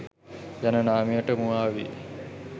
යන නාමයට මුවා වී